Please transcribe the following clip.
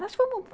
Nós fomos...